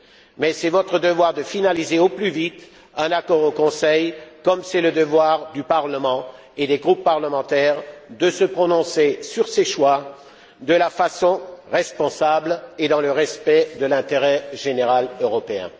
Mais c'est votre devoir de finaliser au plus vite un accord au Conseil, comme c'est le devoir du Parlement et des groupes parlementaires de se prononcer sur ces choix de façon responsable et dans le respect de l'intérêt général européen.